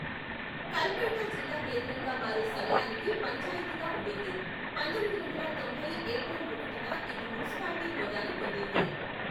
కల్పేట జిల్లా కేంద్రంగా మారే సమయానికి పంచాయతీగా ఉండింది, పంతొమ్మిది వందల తొంభై ఏప్రిల్ ఒకటిన ఇది మున్సిపాలిటీ హోదాను పొందింది.